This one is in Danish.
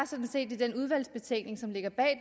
sådan set i den udvalgsbetænkning som ligger bag